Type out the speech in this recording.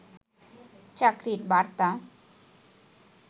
চাকরি বার্তা